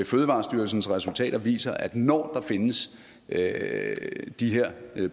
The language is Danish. fødevarestyrelsens resultater viser at når der findes de her